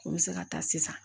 N bɛ se ka taa sisan